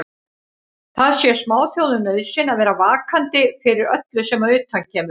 Það sé smáþjóðum nauðsyn að vera vakandi fyrir öllu sem að utan kemur.